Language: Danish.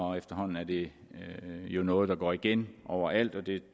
og efterhånden er det jo noget der går igen over alt og det